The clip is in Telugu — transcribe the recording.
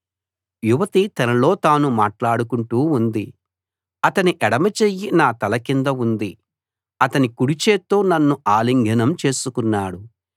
యువతి తనలో తాను మాట్లాడుకుంటూ ఉంది అతని ఎడమచెయ్యి నా తల కింద ఉంది అతని కుడిచేత్తో నన్ను ఆలింగనం చేసుకున్నాడు